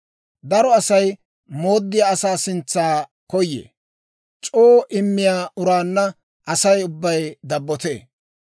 Daro Asay mooddiyaa asaa sintsa koyee; c'oo immiyaa uraanna Asay ubbay dabbotee.